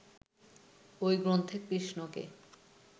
ঐ গ্রন্থে কৃষ্ণকে